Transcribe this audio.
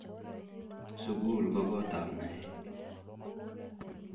Sukul ko kot ab naet